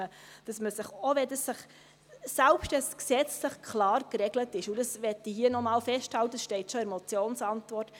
Selbst wenn es gesetzlich klar geregelt ist, und das möchte ich hier noch einmal festhalten, das steht schon in der Motionsantwort: